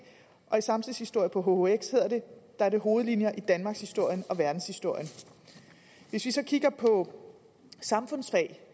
og i samtidshistorie på hhx er det hovedlinjer i danmarkshistorien og verdenshistorien hvis vi så kigger på samfundsfag